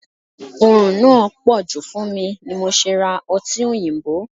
Orun náà poju fún mi ni mo ṣe ra ọtí òyìnbó (five alive).